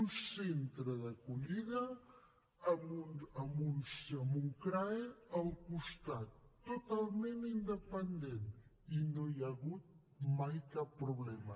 un centre d’acollida amb un crae al costat totalment independent i no hi ha hagut mai cap problema